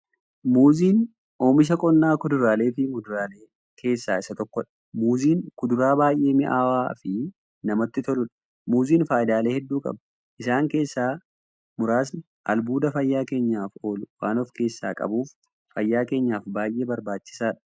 Muuziin oomisha qonnaa kuduraaleefi muduraalee keessaa isa tokkodha. Muuziin kuduraa baay'ee mi'aawaafi namatti toluudha. Muuziin faayidaalee hedduu qaba. Isaan keessaa muraasni; albuuda fayyaa keenyaaf oolu waan of keessaa qabuuf, fayyaa keenyaaf baay'ee barbaachisaadha.